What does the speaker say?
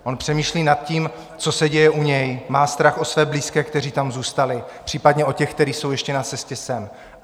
On přemýšlí nad tím, co se děje u něj, má strach o své blízké, kteří tam zůstali, případně o ty, kteří jsou ještě na cestě sem.